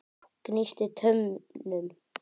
Gnísti tönnum.